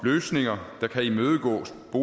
at